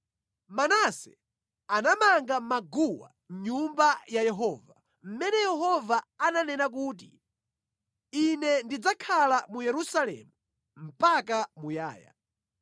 Manase anamanga maguwa mʼNyumba ya Yehova, mʼmene Yehova ananena kuti, “Ine ndidzakhala mu Yerusalemu mpaka muyaya.”